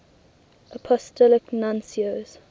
apostolic nuncios